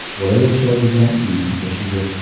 Bola yashaydigan uyning eshigi.